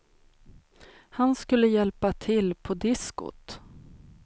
Han skulle hjälpa till på diskot.